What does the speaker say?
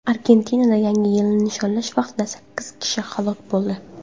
Argentinada Yangi yilni nishonlash vaqtida sakkiz kishi halok bo‘ldi.